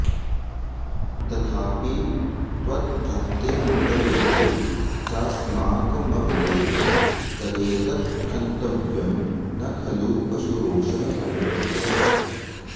तथापि त्वद्भक्तिर्मुखरयति चास्माकममिते तदेतत्क्षन्तव्यं न खलु पशुरोषः समुचितः